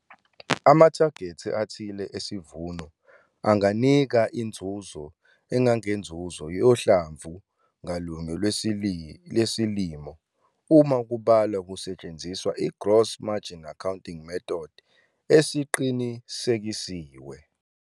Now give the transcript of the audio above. Amathagethi athile esivuno anganika inzuzo engangenzuzo yohlamvu ngalunye lwesilimo uma kubalwa kusetshenziswa igross margin accounting method esiqinisekisiwe.